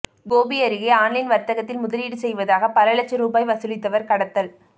கோபி அருகே ஆன்லைன் வர்த்தகத்தில் முதலீடு செய்வதாக பல லட்சம் ரூபாய் வசூலித்தவர் கடத்தல்